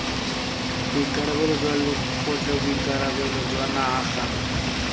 boikarabelo jwa lekgotlaboikarabelo jwa naga